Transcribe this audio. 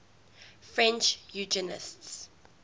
french eugenicists